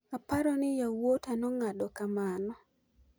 "Aparo ni yawuota nong'ado kamano.